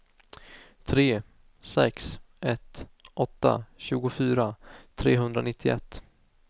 tre sex ett åtta tjugofyra trehundranittioett